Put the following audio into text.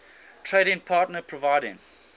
trading partner providing